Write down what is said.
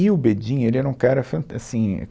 E o Bedin, ele era um cara fan, assim